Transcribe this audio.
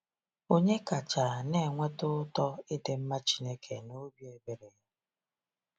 Onye kachaa na-enweta ụtọ ịdị mma Chineke na obi ebere ya?